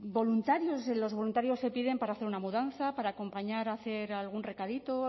los voluntarios se piden para hacer una mudanza para acompañar a hacer algún recadito o